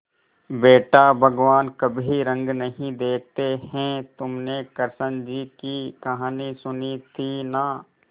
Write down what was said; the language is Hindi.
बेटा भगवान कभी रंग नहीं देखते हैं तुमने कृष्ण जी की कहानी सुनी थी ना